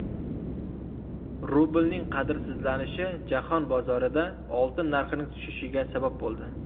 Rublning qadrsizlanishi jahon bozorida oltin narxining tushishiga sabab bo‘ldi.